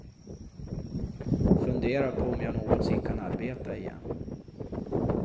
Funderar på om jag någonsin kan arbeta igen.